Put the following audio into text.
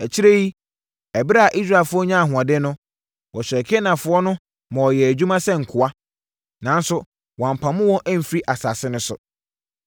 Akyire yi, ɛberɛ a Israelfoɔ nyaa ahoɔden no, wɔhyɛɛ Kanaanfoɔ no ma wɔyɛɛ adwuma sɛ nkoa. Nanso, wɔampamo wɔn amfiri asase no so.